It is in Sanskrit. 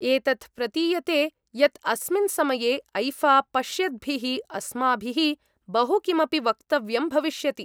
एतत् प्रतीयते यत् अस्मिन् समये ऐफ़ा पश्यद्भिः अस्माभिः बहु किमपि वक्तव्यं भविष्यति।